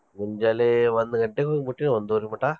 ಮುಂಜಾಲೆ ಒಂದ್ ಗಂಟೆಕ ಹೋಗಿ ಮುಟ್ಟಿವಿ ಒಂದುವರಿ ಮಟಾ.